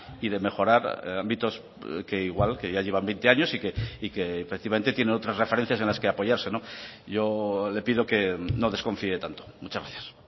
y de mejorar ámbitos que igual que ya llevan veinte años y que efectivamente tiene otras referencias en las que apoyarse yo le pido que no desconfíe tanto muchas gracias